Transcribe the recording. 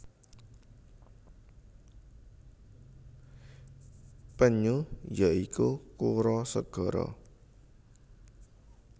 Penyu ya iku kura segara